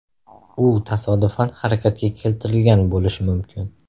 U tasodifan harakatga keltirilgan bo‘lishi mumkin.